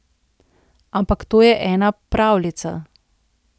Ampak to je ena pravljica.